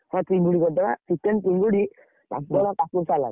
ହଁ ଚିଙ୍ଗୁଡି କରିଦବା, chicken ଚିଙ୍ଗୁଡି, ପାମ୍ପଡ କାକୁଡି salad ।